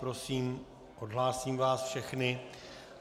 Prosím, odhlásím vás všechny.